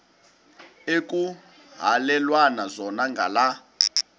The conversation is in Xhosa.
ekuhhalelwana zona ngala